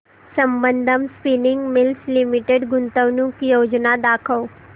Sambandam spinning mills limited गुंतवणूक योजना दाखव